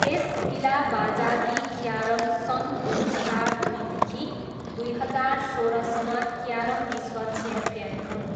S Ilavazhagi carrom सन् दुई हजार दुईदेखि दुई हजार सोह्रसम्म क्यारम विश्व च्याम्पियन हुन्